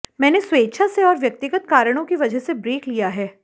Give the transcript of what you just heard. मैंने स्वेच्छा से और व्यक्तिगत कारणों की वजह से ब्रेक लिया है